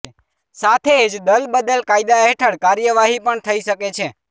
સાથે જ દલબદલ કાયદા હેઠળ કાર્યવાહી પણ થઇ શકે છે